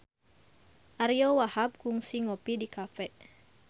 Ariyo Wahab kungsi ngopi di cafe